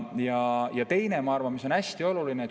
Ja mis minu arvates veel on hästi oluline.